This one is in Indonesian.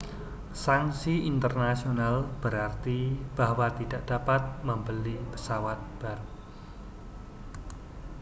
sanksi internasional berarti bahwa tidak dapat membeli pesawat baru